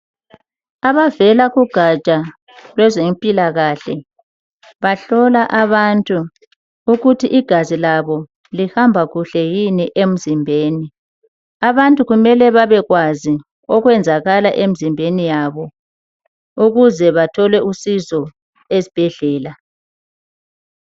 Abavela kugaja lwezempilakahle bahlola abantu ukuthi igazi labo lihamba kuhle yini emzimbeni. Abantu kumele babekwazi okwenzakala emzimbeni yabo ukuze bathole usizo ezibhedlela